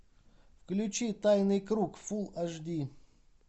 включи тайный круг фул аш ди